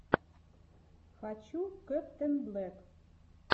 хочу кэптэнблэк